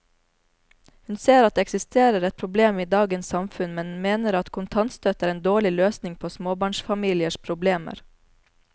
Hun ser at det eksisterer et problem i dagens samfunn, men mener at kontantstøtte er en dårlig løsning på småbarnsfamiliers problemer.